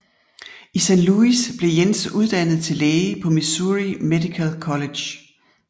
I Saint Louis blev Jens uddannet til læge på Missouri Medical College